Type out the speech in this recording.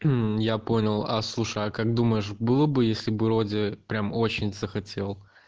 м я понял а слушай а как думаешь было бы если бы вроде прям очень захотел